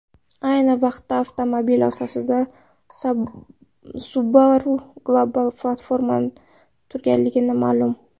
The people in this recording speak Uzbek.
Ayni vaqtda avtomobil asosida Subaru Global Platform turganligi ma’lum.